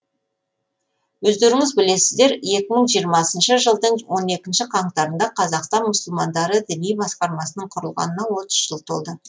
өздеріңіз білесіздер екі мың жиырмасыншы жылдың он екінші қаңтарында қазақстан мұсылмандары діни басқармасының құрылғанына отыз жыл толды